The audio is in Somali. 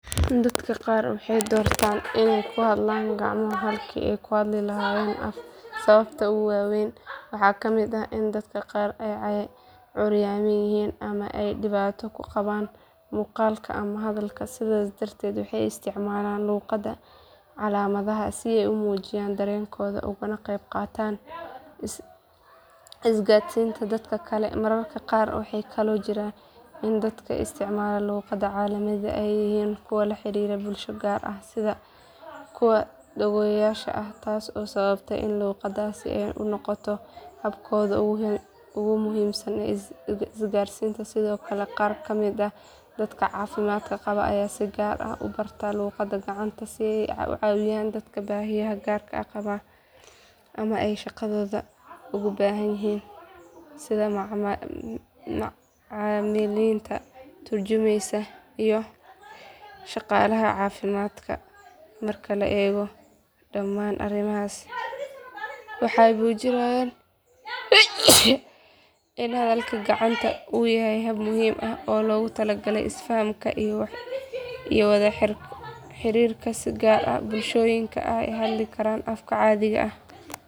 Dadka qaar waxay doortaan inay ku hadlaan gacmo halkii ay ku hadli lahaayeen af sababaha ugu waa weyn waxaa ka mid ah in dadka qaar ay curyaamin yihiin ama ay dhibaato ku qabaan maqalka ama hadalka sidaas darteed waxay isticmaalaan luqadda calaamadaha si ay u muujiyaan dareenkooda ugana qayb qaataan isgaadhsiinta dadka kale mararka qaar waxaa kaloo jirta in dadka isticmaala luqadda calaamadaha ay yihiin kuwa la xiriira bulsho gaar ah sida kuwa dhagoolayaasha ah taas oo sababta in luqaddaasi ay u noqoto habkooda ugu muhiimsan ee isgaarsiineed sidoo kale qaar ka mid ah dadka caafimaad qaba ayaa si gaar ah u barta luqadda gacanta si ay u caawiyaan dadka baahiyaha gaarka ah qaba ama ay shaqadooda ugu baahan yihiin sida macallimiinta tarjumayaasha iyo shaqaalaha caafimaadka marka la eego dhammaan arrimahaas waxay muujinayaan in hadalka gacanta uu yahay hab muhiim ah oo loogu talagalay isfahanka iyo wada xiriirka si gaar ah bulshooyinka aan hadli karin afka caadiga ah.